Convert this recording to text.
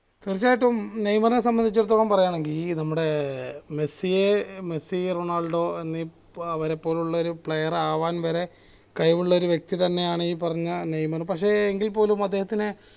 തീർച്ചയായിട്ടും നെയ്മറിനെ സംബന്ധിച്ചിടത്തോളം പറയാണെങ്ങി നമ്മടെ മെസ്സി മെസ്സി റൊണാൾഡോ എന്നീ അവരെപ്പോലുള്ള ഒരു player ആവാൻ വരെ കഴിവുള്ള ഒരു വ്യക്തി തന്നെയാണ് ഈ പറഞ്ഞ നെയ്മർ പക്ഷെ എങ്കിൽ പോലും അദ്ദേഹത്തിനെ